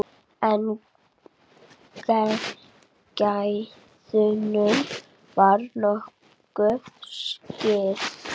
En gæðunum var nokkuð skipt.